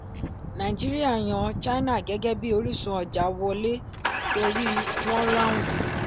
nàìjíríà yan china gẹ́gẹ́bí orísun ọjà wọlé torí wọ́n ráhùn.